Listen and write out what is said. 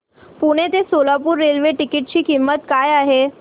पुणे ते Solapur railway ticket ची किंमत काय आहे